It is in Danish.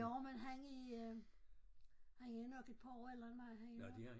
Jo men han er han er nok et par år ældre end mig han er nok